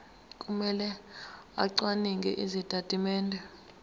kumele acwaninge izitatimende